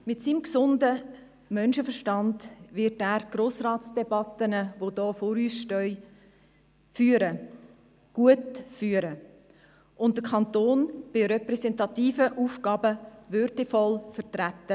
Mit seinem gesunden Menschenerstand wird er die Grossratsdebatten, welche vor uns liegen, gut führen und den Kanton Bern bei repräsentativen Aufgaben würdevoll vertreten.